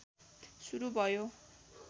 सुरु भयो